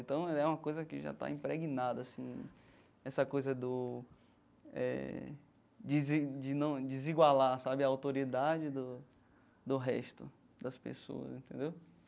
Então, é uma coisa que já está impregnada assim, essa coisa do eh desi de não desigualar sabe a autoridade do do resto das pessoas, entendeu?